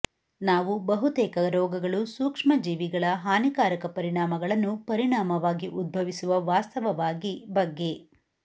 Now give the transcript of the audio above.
ನಾವು ಬಹುತೇಕ ರೋಗಗಳು ಸೂಕ್ಷ್ಮಜೀವಿಗಳ ಹಾನಿಕಾರಕ ಪರಿಣಾಮಗಳನ್ನು ಪರಿಣಾಮವಾಗಿ ಉದ್ಭವಿಸುವ ವಾಸ್ತವವಾಗಿ ಬಗ್ಗೆ